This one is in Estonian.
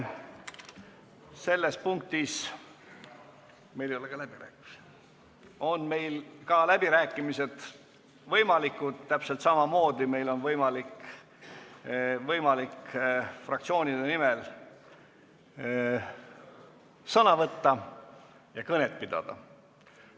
Selles punktis on võimalikud ka läbirääkimised, täpselt samamoodi on võimalik fraktsioonide nimel sõna võtta ja kõnet pidada.